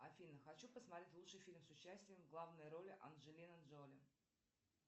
афина хочу посмотреть лучший фильм с участием в главной роли анджелина джоли